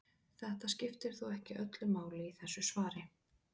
Þetta skiptir þó ekki öllu máli í þessu svari.